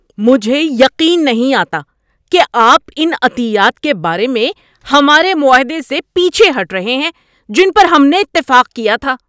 مجھے یقین نہیں آتا کہ آپ ان عطیات کے بارے میں ہمارے معاہدے سے پیچھے ہٹ رہے ہیں جن پر ہم نے اتفاق کیا تھا۔